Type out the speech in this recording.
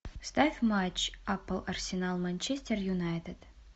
ставь матч апл арсенал манчестер юнайтед